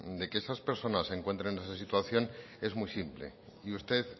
de que esas personas se encuentren en esa situación es muy simple y usted